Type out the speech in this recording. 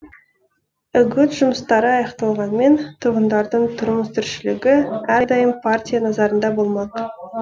үгіт жұмыстары аяқталғанмен тұрғындардың тұрмыс тіршілігі әрдайым партия назарында болмақ